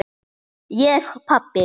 Ég pabbi!